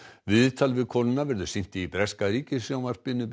viðtal við konuna verður sýnt í breska ríkissjónvarpinu